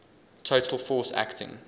total force acting